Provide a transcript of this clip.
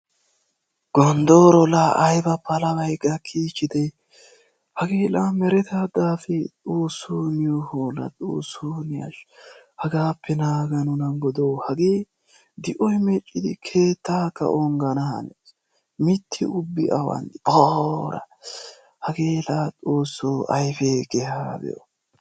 Goondoro la ayba palabay gakichide! Hagee la mereta daafe? Xoossoo niyo hola! Xoossoo ne ashsha! Hagaape naaga nuna. Hagee di'oy meccidi keettaka ongana hanees. Miitta ubbi awani de'i? Poora! Hagee la xoosso ayfe keeha be'o.